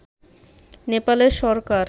নেপাল সরকারের